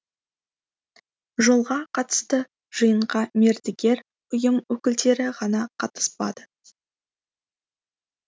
жолға қатысты жиынға мердігер ұйым өкілдері ғана қатыспады